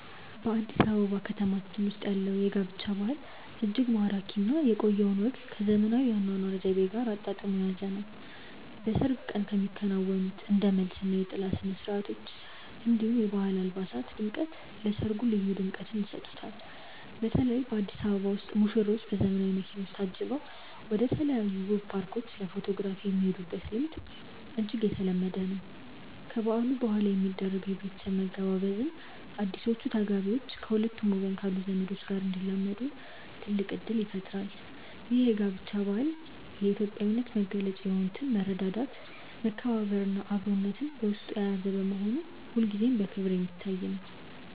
በአዲስ አበባ ከተማችን ውስጥ ያለው የጋብቻ ባህል እጅግ ማራኪ እና የቆየውን ወግ ከዘመናዊው የአኗኗር ዘይቤ ጋር አጣጥሞ የያዘ ነው። በሰርግ ቀን የሚከናወኑት እንደ መልስ እና የጥላ ስነስርዓቶች፣ እንዲሁም የባህል አልባሳት ድምቀት ለሰርጉ ልዩ ድምቀትን ይሰጡታል። በተለይ በአዲስ አበባ ውስጥ ሙሽሮች በዘመናዊ መኪኖች ታጅበው ወደተለያዩ ውብ ፓርኮች ለፎቶግራፍ የሚሄዱበት ልምድ እጅግ የተለመደ ነው። ከበዓሉ በኋላ የሚደረገው የቤተሰብ መገባበዝም አዲሶቹ ተጋቢዎች ከሁለቱም ወገን ካሉ ዘመዶች ጋር እንዲላመዱ ትልቅ እድል ይፈጥራል። ይህ የጋብቻ ባህል የኢትዮጵያዊነትን መገለጫ የሆኑትን መረዳዳት፣ መከባበር እና አብሮነትን በውስጡ የያዘ በመሆኑ ሁልጊዜም በክብር የሚታይ ነው።